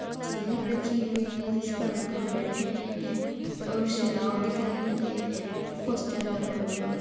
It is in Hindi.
चेयर रखी हुई है जिसपे अंकल बैठे हैं और सलाव दिख रही है पोस्टर लगा हुआ है